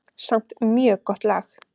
Samt mjög gott lag.